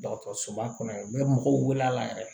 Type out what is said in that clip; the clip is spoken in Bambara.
Dɔgɔtɔrɔsoba kɔnɔ u bɛ mɔgɔw wele la yɛrɛ